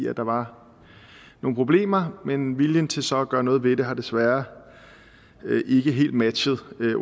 at der var nogle problemer men viljen til så at gøre noget ved det har desværre ikke helt matchet